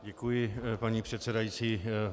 Děkuji, paní předsedající.